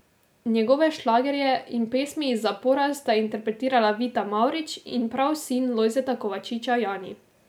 Njegove šlagerje in pesmi iz zapora sta interpretirala Vita Mavrič in prav sin Lojzeta Kovačiča, Jani.